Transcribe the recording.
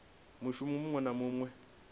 mushumo muṅwe na muṅwe we